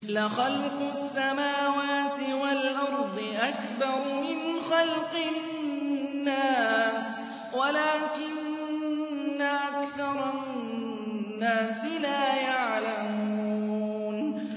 لَخَلْقُ السَّمَاوَاتِ وَالْأَرْضِ أَكْبَرُ مِنْ خَلْقِ النَّاسِ وَلَٰكِنَّ أَكْثَرَ النَّاسِ لَا يَعْلَمُونَ